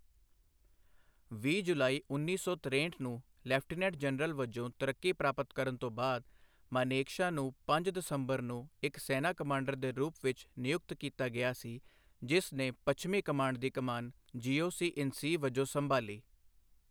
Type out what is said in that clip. ਵੀਹ ਜੁਲਾਈ ਉੱਨੀ ਸੌ ਤਰੇਹਠ ਨੂੰ ਲੈਫਟੀਨੈਂਟ ਜਨਰਲ ਵਜੋਂ ਤਰੱਕੀ ਪ੍ਰਾਪਤ ਕਰਨ ਤੋਂ ਬਾਅਦ, ਮਾਨੇਕਸ਼ਾ ਨੂੰ ਪੰਜ ਦਸੰਬਰ ਨੂੰ ਇੱਕ ਸੈਨਾ ਕਮਾਂਡਰ ਦੇ ਰੂਪ ਵਿੱਚ ਨਿਯੁਕਤ ਕੀਤਾ ਗਿਆ ਸੀ, ਜਿਸ ਨੇ ਪੱਛਮੀ ਕਮਾਂਡ ਦੀ ਕਮਾਨ ਜੀਓਸੀ ਇਨ ਸੀ ਵਜੋਂ ਸੰਭਾਲੀ।